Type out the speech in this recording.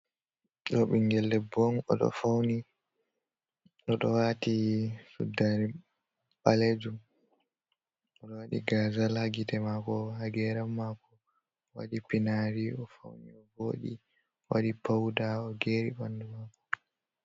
Ɗo ɓingel debbo on o ɗo fauni, o ɗo wati suddare ɓalejum, o ɗo wadi gazal ha gite mako, ha geram mako, wadi pinari. O fauni o wooɗi, o waɗi pauda o geri ɓandu mako.